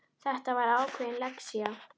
Þetta var ákveðin lexía.